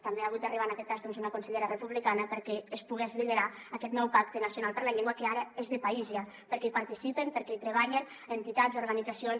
també ha hagut d’arribar en aquest cas una consellera republicana perquè es pogués liderar aquest nou pacte nacional per la llengua que ara és de país ja perquè hi participen perquè hi treballen entitats i organitzacions